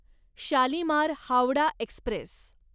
Shalimar Howrah Express